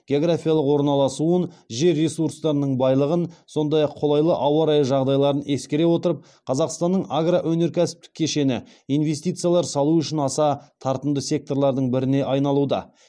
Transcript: географиялық орналасуын жер ресурстарының байлығын сондай ақ қолайлы ауа райы жағдайларын ескере отырып қазақстанның агроөнеркәсіптік кешені инвестициялар салу үшін аса тартымды секторлардың біріне айналуда